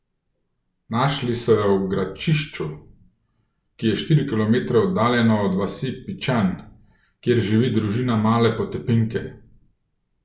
Našli so jo v Gračišću, ki je štiri kilometre oddaljeno od vasi Pićan, kjer živi družina male potepinke.